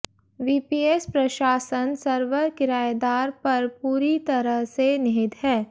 VPS प्रशासन server किरायेदार पर पूरी तरह से निहित है